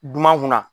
Dunan kunna